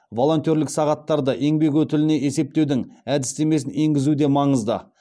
волонтерлік сағаттарды еңбек өтіліне есептеудің әдістемесін енгізу де маңызды